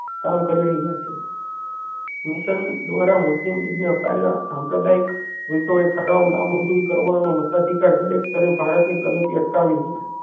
કામ કરી રહ્યા છે મિશન દ્વારા મુસ્લિમ લીગ ના અપાયેલા સાંપ્રદાયિક વિટો એ ઠરાવ ના મંજૂરી કરવાનો મતાધિકાર દરેક તરે ભારત ની પ્રાડાતી અટકાવી હોત